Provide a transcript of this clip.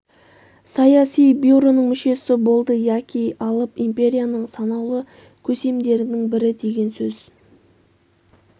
саяси бюроның мүшесі болды яки алып империяның санаулы көсемдерінің бірі деген сөз